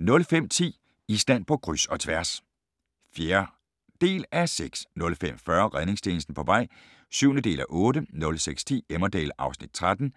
05:10: Island på kryds – og tværs (4:6) 05:40: Redningstjenesten på vej (7:8) 06:10: Emmerdale (Afs. 13)